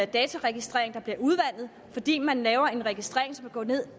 dataregistrering der bliver udvandet fordi man laver en registrering